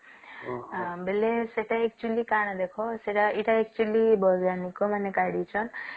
ବୋଲେ ସେଟା ଚୁଲି କାଣ ଦେଖ ଏଟା actually ବୈଜ୍ଞାନିକ ମାନେ କାଢିଛନ